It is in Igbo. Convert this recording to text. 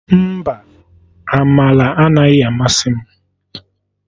Mba, Amaka anaghị amasị m